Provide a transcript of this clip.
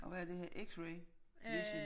Og hvad er det her x-ray vision?